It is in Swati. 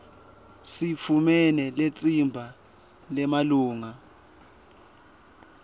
sitfumele litsimba lemalunga